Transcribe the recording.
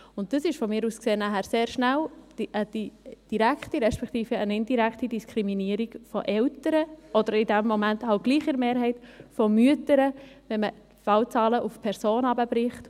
Dies ist, aus meiner Sicht, sehr schnell eine direkte beziehungsweise eine indirekte Diskriminierung von Eltern oder, in dem Fall doch in der Mehrheit, von Müttern, wenn man die Fallzahlen auf Personen herunterbricht.